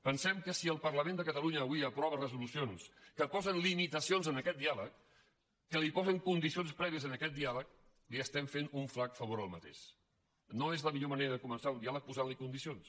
pensem que si el parlament de catalunya avui aprova resolucions que posen limitacions a aquest diàleg que posen condicions prèvies a aquest diàleg li estem fent un flac favor no és la millor manera de començar un diàleg posant·hi condicions